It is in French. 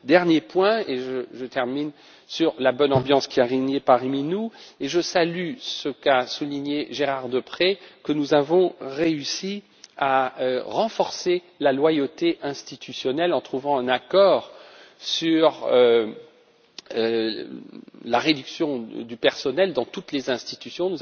Dernier point, et je termine sur la bonne ambiance qui a régné parmi nous, je salue ce qu'a souligné Gérard Deprez, à savoir que nous avons réussi à renforcer la loyauté institutionnelle en trouvant un accord sur la réduction du personnel dans toutes les institutions.